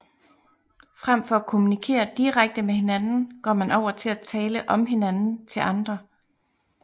Frem for at kommunikere direkte med hinanden går man over til at tale om hinanden til andre